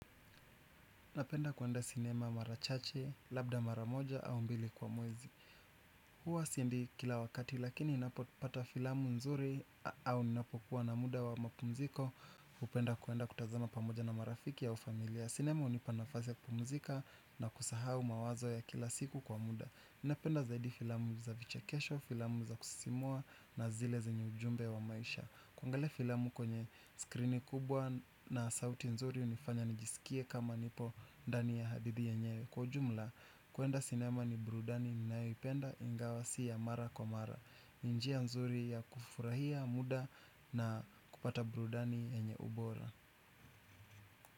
Napenda kuenda sinema mara chache, labda mara moja au mbili kwa mwezi huwa siendi kila wakati lakini ninapopata filamu nzuri au ninapokua na muda wa mapumziko napenda kuenda kutazama pamoja na marafiki ya ufamilia. Sinema hunipa nafasi kupumzika na kusahau mawazo ya kila siku kwa muda. Napenda zaidi filamu za vichekesho, filamu za kusisimua na zile zenye ujumbe wa maisha. Kuangalia filamu kwenye skrini kubwa na sauti nzuri inayofanya nijisikie kama nipo ndani ya hadithi yenyewe. Kwa ujumla kuenda sinema ni burudani ninayoipenda ingawa si ya mara kwa mara. Nji ya nzuri ya kufurahia muda na kupata burudani yenye ubora.